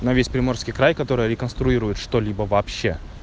на весь приморский край который реконструирует что-либо вообще